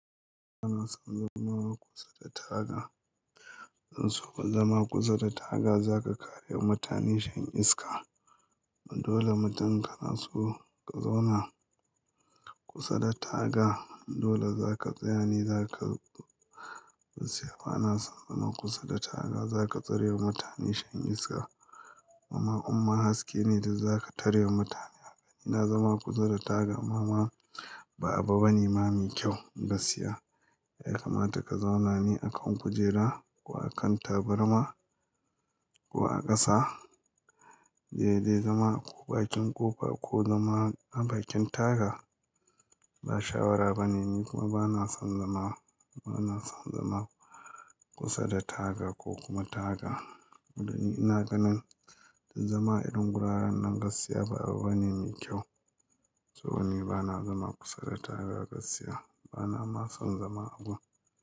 Ba na son zama kusa da taga. Ban so ka zama kusa da taga, za ka kare wa mutane shan iska. Dole mutum in ka na so ka zauna kusa da taga dole za ka tsaya ne za ka gaskiya ba na son zama kusa da taga, za ka tsarewa mutane shan iska. Mama umma haske ne da za ka tarewa mutane haka. Ina zama kusa da taga ma ma ba abu bane ma mai kyau gaskiya. Ya kamata ka zauna ne akan kujera ko akan tabarma ko a ƙasa? Daidai zama a ko bakin ƙofa ko zama a bakin taga ba shawara bane. Ni kuma ba na son zama, ba na son zama kusa da taga ko kuma taga. Saboda ni ina ganin zama a irin guraren nan gaskiya ba abu bane mai kyau. To ni ba na zama kusa da taga gasiya. Ba na ma son zama a wurin.